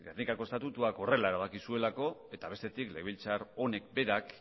gernikako estatutuak horrela erabaki zuelako eta bestetik legebiltzar honek berak